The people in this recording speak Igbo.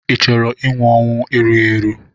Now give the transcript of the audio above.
Ị chọrọ inwụ ọnwụ erughị eru?